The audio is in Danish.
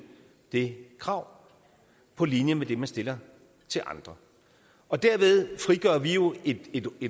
det krav på linje med det man stiller til andre og derved frigør vi jo et